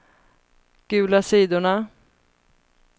gula sidorna